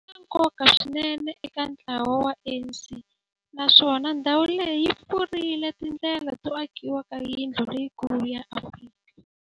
ri na nkoka swinene eka ntlawa wa ANC, naswona ndhawu leyi yi pfulrile tindlela to akiwa ka yindlu leyikulu ya Afrika